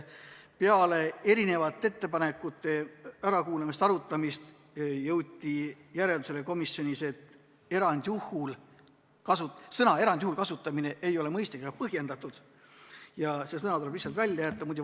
Peale ettepanekute ärakuulamist ja arutamist jõuti komisjonis järeldusele, et sõna "erandjuhul" kasutamine ei ole mõistlik ega põhjendatud ja see sõna tuleb lihtsalt välja jätta.